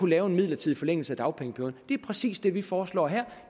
lave en midlertidig forlængelse af dagpengeperioden det er præcis det vi foreslår her